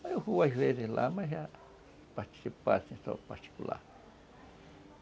Aí eu vou às vezes lá, mas é participar em salão particular.